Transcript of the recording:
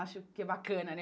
Acho que é bacana, né?